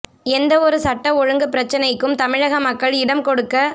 எந்த வித சட்ட ஒழுங்கு பிரச்னைக்கும் தமிழக மக்கள் இடம் கொடுக்கக்